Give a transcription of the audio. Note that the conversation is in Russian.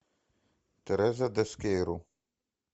тереза дескейру